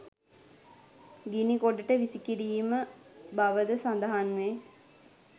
ගිනි ගොඩට විසි කිරීම බවද සඳහන් වේ.